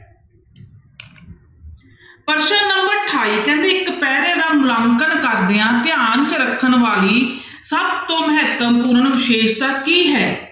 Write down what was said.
ਪ੍ਰਸ਼ਨ number ਅਠਾਈ ਕਹਿੰਦੇ ਇੱਕ ਪੈਰ੍ਹੇ ਦਾ ਮੁਲਾਂਕਣ ਕਰਦਿਆਂ ਧਿਆਨ 'ਚ ਰੱਖਣ ਵਾਲੀ ਸਭ ਤੋਂ ਮਹੱਤਵਪੂਰਨ ਵਿਸ਼ੇਸ਼ਤਾ ਕੀ ਹੈ?